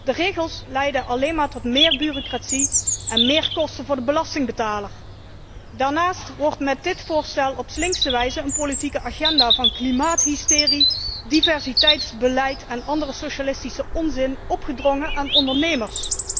De regels leiden alleen maar tot meer bureaucratie en meer kosten voor de belastingbetaler. Daarnaast wordt met dit voorstel op slinkse wijze een politieke agenda van klimaathysterie, diversiteitsbeleid en andere socialistische onzin opgedrongen aan ondernemers.